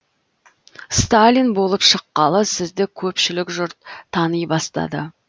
сталин болып шыққалы сізді көпшілік жұрт тани бастады